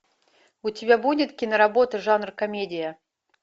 у тебя будет киноработа жанр комедия